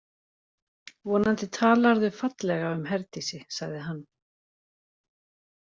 Vonandi talarðu fallega um Herdísi, sagði hann.